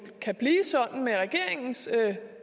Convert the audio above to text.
kan blive sådan med regeringens